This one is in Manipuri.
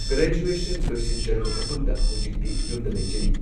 ꯒ꯭ꯔꯦꯖꯨꯋꯦꯁꯟ ꯂꯣꯏꯁꯤꯟꯖꯔꯕ ꯃꯇꯨꯡꯗ ꯍꯧꯖꯤꯛꯇꯤ ꯌꯨꯝꯗ ꯂꯩꯖꯔꯤ꯫